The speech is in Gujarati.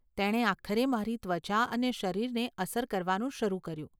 તેણે આખરે મારી ત્વચા અને શરીરને અસર કરવાનું શરૂ કર્યું.